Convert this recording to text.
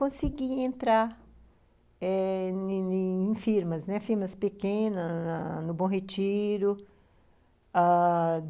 Consegui entrar eh em em firmas, firmas pequenas, no Bom Retiro, ãh...